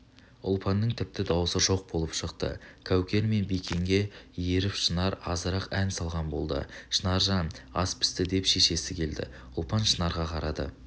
ұлпанның тіпті даусы жоқ болып шықты кәукер мен бикенге еріп шынар азырақ ән салған болды шынаржан ас пісті деп шешесі келді ұлпан шынарға қарады